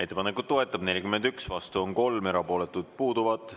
Ettepanekut toetab 41, vastu on 3, erapooletud puuduvad.